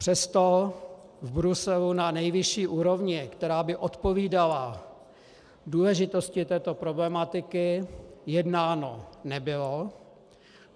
Přesto v Bruselu na nejvyšší úrovni, která by odpovídala důležitosti této problematiky, jednáno nebylo.